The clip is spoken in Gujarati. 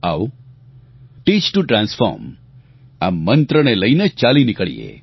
આવો ટીચ ટીઓ ટ્રાન્સફોર્મ આ મંત્રને લઇને ચાલી નિકળીએ